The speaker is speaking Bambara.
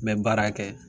N bɛ baara kɛ